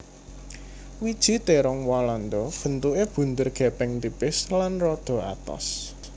Wiji térong walanda bentuké bunder gèpèng tipis lan rada atos